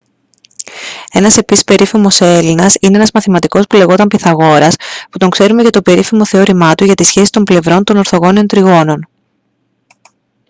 ένας επίσης περίφημος έλληνας είναι ένας μαθηματικός που λεγόταν πυθαγόρας που τον ξέρουμε για το περίφημο θεώρημά του για τις σχέσεις των πλευρών των ορθογώνιων τριγώνων